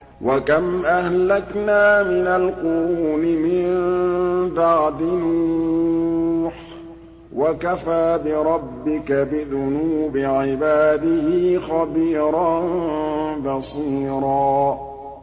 وَكَمْ أَهْلَكْنَا مِنَ الْقُرُونِ مِن بَعْدِ نُوحٍ ۗ وَكَفَىٰ بِرَبِّكَ بِذُنُوبِ عِبَادِهِ خَبِيرًا بَصِيرًا